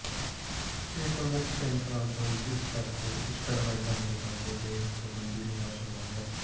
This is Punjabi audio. ਇਹ ਪ੍ਰਮੁੱਖ ਤਿੰਨ ਕਾਰਨ ਸਨ ਜਿਸ ਕਰਕੇ ਇੰਸਟਾਗ੍ਰਾਮ ਤੁਹਾਡੇ ਖਾਤੇ ਤੇ ਪਾਬੰਦੀ ਲਗਾ ਸਕਦਾ ਹੈ